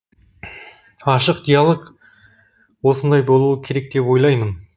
ашық диалог осындай болуы керек деп ойлаймын